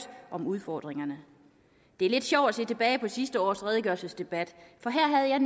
om udfordringerne det er lidt sjovt at se tilbage på sidste års redegørelsesdebat for her havde jeg